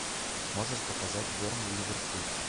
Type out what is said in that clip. можешь показать бернли ливерпуль